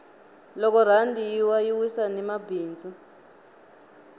loko rhandi yi wa yi wisa ni mabindzu